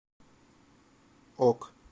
ок